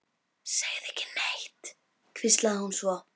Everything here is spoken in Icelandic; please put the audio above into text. Segðu ekki neitt, hvíslaði hún svo.